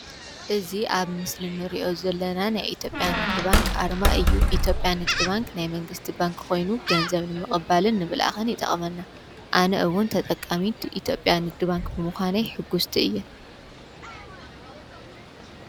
እዝይ ኣብ ምስሊ እንሪእዮ ዘለናን ናይ ኢትዮጵያ ንግድ ባንክ ኣርማ እዩ። ኢትዮጵያ ንግድ ባንክ ናይ መንግስቲ ባንክ ኮይኑ ገንዘብ ምቅባልን ንምልኣክን ይጠቅመና። ኣነ እውን ተጠቃሚት ኢትዮጵያ ንግድ ባንክ ብምኮነይ ሕጉስቲ እየ።